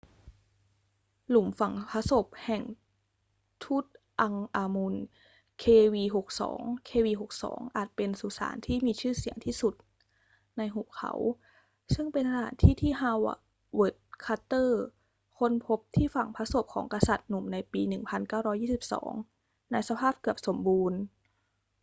หลุมฝังพระศพแห่งทุตอังค์อามุน kv62 kv62 อาจเป็นสุสานที่มีชื่อเสียงที่สุดในหุบเขาซึ่งเป็นสถานที่ที่ ฮาเวิร์ด คาร์เตอร์ ค้นพบที่ฝังพระศพของกษัตริย์หนุ่มในปี 1922 ในสภาพเกือบสมบูรณ์